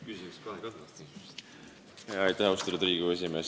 Austatud Riigikogu esimees!